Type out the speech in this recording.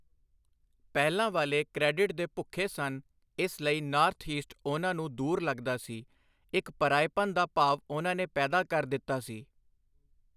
ਪਹਿਲਾਂ ਵਾਲੇ ਕ੍ਰੈਡਿਟ ਦੇ ਭੁੱਖੇ ਸਨ, ਇਸ ਲਈ ਨਾੱਰਥ ਈਸਟ ਉਨ੍ਹਾਂ ਨੂੰ ਦੂਰ ਲਗਦਾ ਸੀ, ਇੱਕ ਪਰਾਏਪਨ ਦਾ ਭਾਵ ਉਨ੍ਹਾਂ ਨੇ ਪੈਦਾ ਕਰ ਦਿੱਤਾ ਸੀ।